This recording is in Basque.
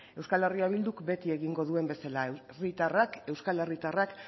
euskal herria bilduk beti egingo duen bezala herritarrak euskal herritarrak